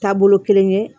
Taabolo kelen ye